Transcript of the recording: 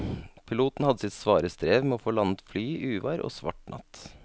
Piloten hadde sitt svare strev med å få landet flyet i uvær og svart natt.